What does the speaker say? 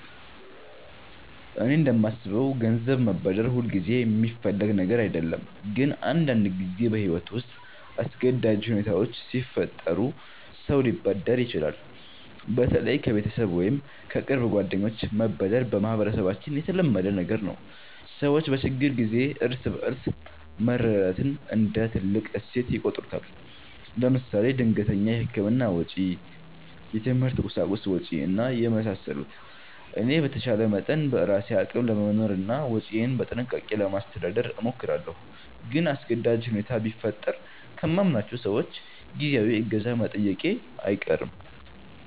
እኔ እንደማስበው ገንዘብ መበደር ሁልጊዜ የሚፈለግ ነገር አይደለም፣ ግን አንዳንድ ጊዜ በሕይወት ውስጥ አስገዳጅ ሁኔታዎች ሲፈጠሩ ሰው ሊበደር ይችላል። በተለይ ከቤተሰብ ወይም ከቅርብ ጓደኞች መበደር በማህበረሰባችን የተለመደ ነገር ነው። ሰዎች በችግር ጊዜ እርስ በርስ መረዳዳትን እንደ ትልቅ እሴት ይቆጥሩታል። ለምሳሌ ድንገተኛ የሕክምና ወጪ፣ የትምህርት ቁሳቁስ ወጭ እና የመሳሰሉት። እኔ በተቻለ መጠን በራሴ አቅም ለመኖርና ወጪዬን በጥንቃቄ ለማስተዳደር እሞክራለሁ። ግን አስገዳጅ ሁኔታ ቢፈጠር ከማምናቸው ሰዎች ጊዜያዊ እገዛ መጠየቄ አይቀርም